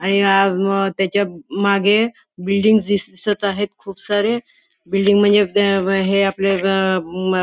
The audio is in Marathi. आणि आ म त्याच्यामागे बिल्डिंग्स दिसत आहे खूप सारे बिल्डिंग म्हणजे हे आपले --